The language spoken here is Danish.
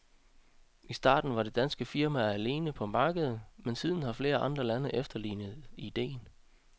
I starten var det danske firma alene på markedet, men siden har flere andre lande efterlignet idéen.